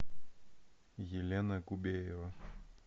елена кубеева